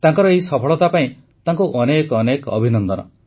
ତାଙ୍କର ଏହି ସଫଳତା ପାଇଁ ତାଙ୍କୁ ଅନେକ ଅନେକ ଅଭିନନ୍ଦନ